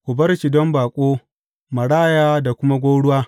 Ku bar shi don baƙo, maraya da kuma gwauruwa.